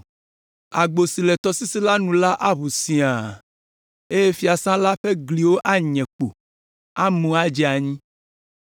Agbo si le tɔsisi la nu la aʋu siaa, eye fiasã la ƒe gliwo anye kpo, amu adze anyi.